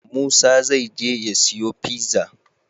Musa zai je ya siyo pizza?